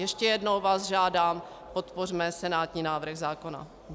Ještě jednou vás žádám, podpořme senátní návrh zákona.